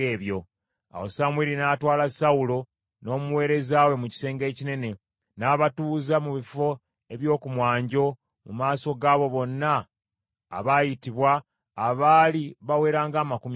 Awo Samwiri n’atwala Sawulo n’omuweereza we mu kisenge ekinene, n’abatuuza mu bifo eby’oku mwanjo mu maaso g’abo bonna abaayitibwa abaali bawera ng’amakumi asatu.